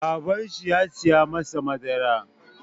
Babanshi ya saya masa madara.